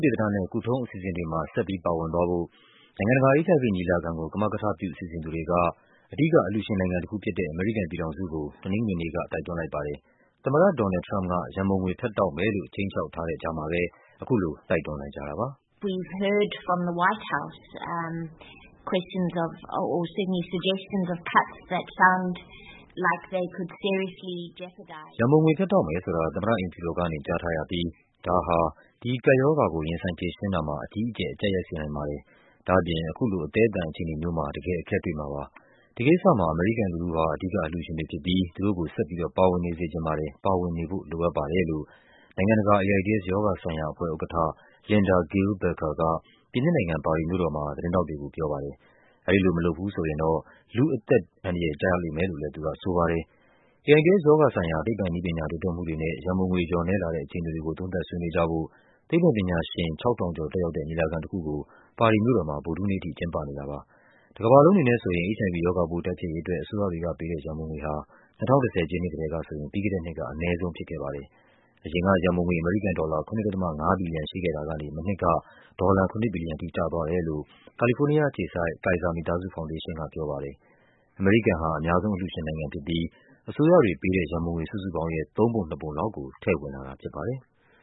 တေသနနဲ့ ကုထုံးအစီအစဉ်တွေမှာ ဆက်ပြီး ပါဝင်သွားဖို့ နိုင်ငံတကာ HIV ညီလာခံကို ကမကထပြု စီစဉ် သူတွေက အဓိကအလှူရှင်နိုင်ငံတခုဖြစ်တဲ့ အမေရိကန်ပြည်ထောင်စုကို တနင်္ဂနွေနေ့က တိုက်တွန်းလိုက်ပါတယ်။ သမ္မတ ဒေါ်နယ်လ်ဒ် ထရမ့်ပ်က ရန်ပုံငွေဖြတ်တောက်မယ်လို့ ခြိမ်းခြောက်ထားတဲ့ကြားမှာပဲ အခုလို တိုက်တွန်းလိုက်ကြတာပါ။ “ရန်ပုံငွေဖြတ်တောက်မယ်ဆိုတာ သမ္မတအိမ်ဖြူတော်ကနေ ကြားထားရပြီး ဒါဟာ ဒီကပ်ရောဂါကို ရင်ဆိုင်ဖြေရှင်းတာမှာ အကြီးအကျယ် အကျပ်ရိုက်စေနိုင်ပါတယ်။ ဒါ့အပြင် အခုလို အသည်းအသန် အခြေအနေမျိုးမှာ တကယ်အခက်တွေ့မှာပါ။ ဒီကိစ္စ မှာ အမေရိကန်လူထုဟာ အဓိကအလှူရှင်တွေဖြစ်ပြီး သူတို့ကို ဆက်ပြီးတော့ ပါဝင်နေစေချင်ပါတယ်၊ ပါဝင်နေဖို့ လိုအပ်ပါ တယ်။” လို့ နိုင်ငံတကာ AIDS ရောဂါဆိုင်ရာအဖွဲ့ရဲ့ဥက္ကဌ Linda-Gail Bekker က ပြင်သစ်နိုင်ငံ၊ ပါရီမြို့တော်မှာ သတင်း ထောက်တွေကို ပြောပါတယ်။ အဲဒီလိုမလုပ်ဘူးဆိုရင်တော့ လူ့အသက်တွေ အန္တရာယ်ကျလိမ့်မယ်လို့လဲ သူကဆိုပါတယ်။ AIDS ရောဂါဆိုင်ရာ သိပ္ပံနည်းပညာ တိုးတက်မှုတွေနဲ့ ရန်ပုံငွေလျော့နည်းလာတဲ့ အခြေအနေတွေကို သုံးသပ်ဆွေးနွေးကြဖို့ သိပ္ပံ ပညာရှင် ၆,၀၀၀ ကျော်တက်ရောက်တဲ့ ညီလာခံတခုကို ပါရီမြို့တော်မှာ ဗုဒ္ဓဟူးနေ့ထိ ကျင်းပနေတာပါ။ တကမ္ဘာလုံးအနေနဲ့ဆိုရင် HIV ရောဂါပိုးတိုက်ဖျက်ရေးအတွက် အစိုးရတွေကပေးတဲ့ ရန်ပုံငွေဟာ ၂၀၁၀ ပြည့်နှစ်ကတည်းက ဆိုရင် ပြီးခဲ့တဲ့နှစ်က အနည်းဆုံးဖြစ်ခဲ့ပါတယ်။ အရင်က ရန်ပုံငွေ အမေရိကန်ဒေါ်လာ ၇.၅ ဘီလီယံ ရှိခဲ့တာကနေ မနှစ်က ဒေါ်လာ ၇ ဘီလီယံထိကျသွားတယ်လို့ ကာလီဖိုးနီးယားအခြေစိုက် Kaiser မိသားစုဖောင်ဒေးရှင်းကပြောပါတယ်။ အမေရိကန် ဟာ အများဆုံးအလှူရှင်နိုင်ငံဖြစ်ပြီး အစိုးရတွေပေးတဲ့ရန်ပုံငွေစုစုပေါင်းရဲ့ သုံးပုံနှစ်ပုံလောက်ကို ထည့်ဝင်လာတာဖြစ်ပါတယ်။